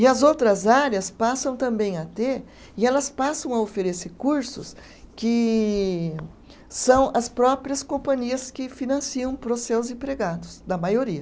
E as outras áreas passam também a ter, e elas passam a oferecer cursos que são as próprias companhias que financiam para os seus empregados, da maioria.